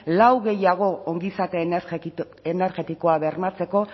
lau gehiago ongizate energetikoa bermatzeko